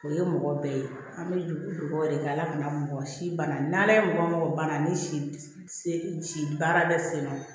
O ye mɔgɔ bɛɛ ye an bɛ dugawu de kɛ ala kana mɔgɔ si banna n'ala ye mɔgɔ mɔgɔ bana ni si baara bɛ senna